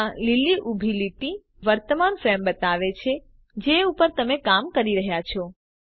આ લીલી ઊભી લીટી તમને વર્તમાન ફ્રેમ બતાવે છે જે ઉપર તમે કામ કરી રહ્યા છો